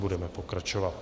Budeme pokračovat.